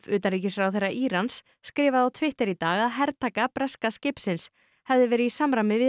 utanríkisráðherra Írans skrifaði á Twitter í dag að hertaka breska skipsins hefði verið í samræmi við